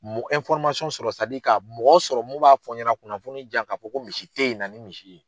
Mɔ sadi ka mɔgɔ sɔrɔ mun b'a fɔ ɲɛna kunnafoni diyan ka fɔ ko misi te ye, na ni misi ye.